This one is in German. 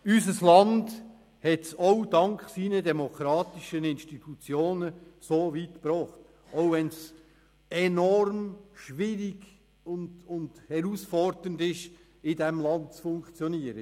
Unser Land hat es auch dank seinen demokratischen Institutionen so weit gebracht, obwohl es enorm schwierig und herausfordernd ist, in diesem Land zu funktionieren.